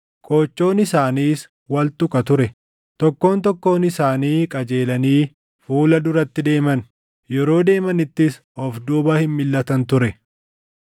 qoochoon isaaniis wal tuqa ture. Tokkoon tokkoon isaanii qajeelanii fuula duratti deeman; yeroo deemanittis of duuba hin milʼatan ture.